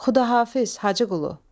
Xudahafiz, Hacı Qulu.